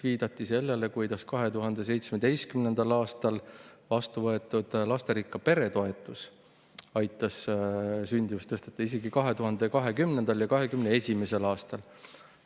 Viidati ka sellele, kuidas 2017. aastal vastu võetud lasterikka pere toetus aitas sündimust tõsta isegi 2020. ja 2021. aastal.